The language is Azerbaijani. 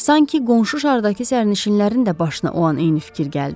Sanki qonşu şardakı sərnişinlərin də başına o an eyni fikir gəldi.